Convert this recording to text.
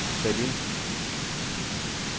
sæt ind